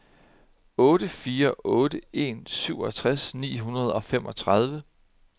otte fire otte en syvogtres ni hundrede og femogtredive